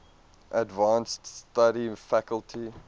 advanced study faculty